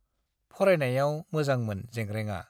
फरायनायाव मोजांमोन जेंग्रेंआ।